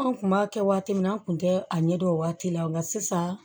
An kun b'a kɛ waati min na an kun tɛ a ɲɛdɔn o waati la nka sisan